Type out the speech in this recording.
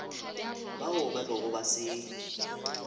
bao ba bego ba se